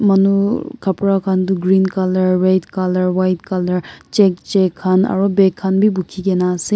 manu khapura khan du green colour red colour white colour check check khan aru bag khan bi bukhi kena ase.